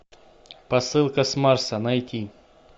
посылка с марса найти